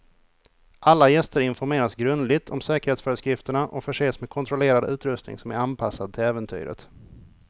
Alla gäster informeras grundligt om säkerhetsföreskrifterna och förses med kontrollerad utrustning som är anpassad till äventyret.